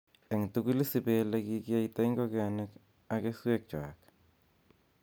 En kotugul isiib ele kikiyaita ingogenik ak keswekchwak.